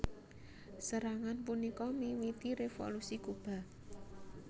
Serangan punika miwiti Revolusi Kuba